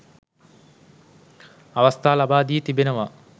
අවස්ථා ලබා දී තිබෙනවා